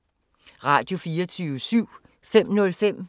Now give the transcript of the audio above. Radio24syv